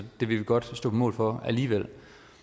det vil vi godt stå på mål for alligevel